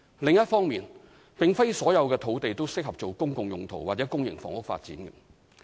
另一方面，並非所有土地均適合作"公共用途"或公營房屋發展。